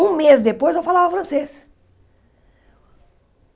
Um mês depois eu falava francês.